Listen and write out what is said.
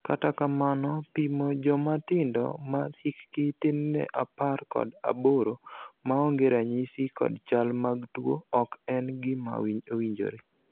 kata kamano, pimo jomatindo ma hikgi tin ne apar kod aboro maonge ranyisi kod chal mag tuo ok en gima owinjore